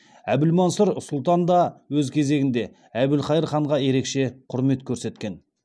әбілмансұр сұлтан да өз кезегінде әбілқайыр ханға ерекше құрмет көрсеткен